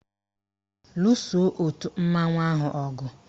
Luso òtù mmanwụ ahụ ọgụ!